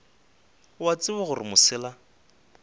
o a tseba gore mosela